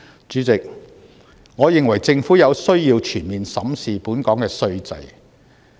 主席，我認為政府有需要全面審視本港稅制。